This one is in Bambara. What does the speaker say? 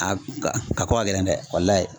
A ka ka ko ka gɛlɛn dɛ